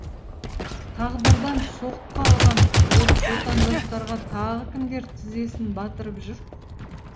тағдырдан соққы алған отандастарға тағы кімдер тізесін батырып жүр